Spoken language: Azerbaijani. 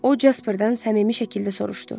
O Jasperdan səmimi şəkildə soruşdu: